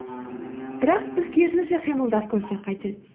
бірақ біз керісінше қимылдап көрсек қайтеді